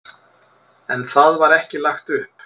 En það var ekki lagt upp.